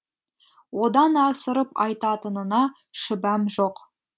одан асырып айтатынына шүбәм жоқ